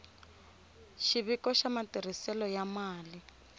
xiviko xa matirhiselo ya mali